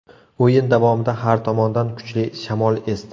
O‘yin davomida har tomondan kuchli shamol esdi.